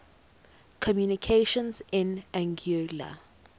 communications in anguilla